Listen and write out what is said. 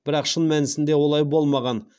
бірақ шын мәнісінде олай болмаған